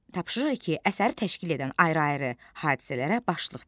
Tapşırıq 2. Əsəri təşkil edən ayrı-ayrı hadisələrə başlıq ver.